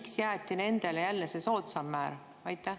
Miks jäeti nendele jälle soodsam määr?